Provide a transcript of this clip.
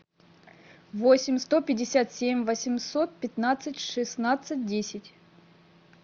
восемь сто пятьдесят семь восемьсот пятнадцать шестнадцать десять